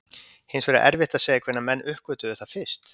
Hins vegar er erfitt að segja hvenær menn uppgötvuðu það fyrst.